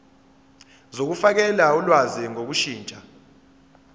zokufakela ulwazi ngokushintsha